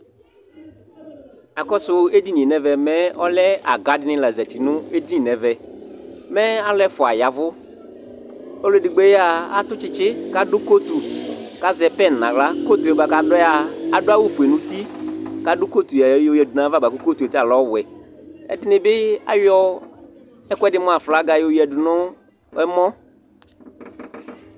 Akɔsʋ edini yɛ nʋ ɛvɛ mɛ, ɔlɛ aga dɩnɩ la zati nʋ edini yɛ nʋ ɛvɛ Mɛ alʋ ɛfʋa ya ɛvʋ Ɔlʋ edigbo yɛ a, atʋ tsɩtsɩ kʋ adʋ kotu kʋ azɛ pɛn nʋ aɣla Kotu yɛ bʋa kʋ adʋ yɛ a, adʋ awʋfue nʋ uti kʋ adʋ kotu yɛ yɔyǝdu nʋ ayava bʋa kʋ kotu yɛ ta lɛ ɔwɛ Ɛdɩnɩ bɩ ayɔ ɛkʋɛdɩ mʋ aflaga yɔyǝdu nʋ ɛmɔ